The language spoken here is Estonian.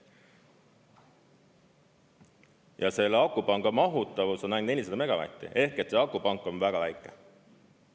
Ja selle akupanga mahutavus on ainult 400 megavatti ehk et akupank on väga väike.